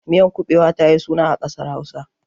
Miyar kuɓewa ta yi suna a ƙasar Hausa.